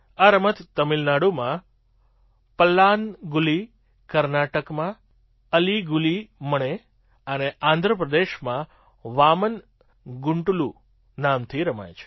આ રમત તમિલનાડુમાં પલ્લાન્ગુલી કર્ણાટકમાં અલિ ગુલી મણે અને આંધ્ર પ્રદેશમાં વામન ગુંટલૂ નામથી રમાય છે